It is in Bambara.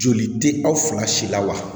Joli tɛ aw fila si la wa